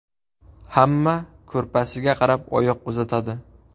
Hamma kurpasiga qarab oyoq uzatadi.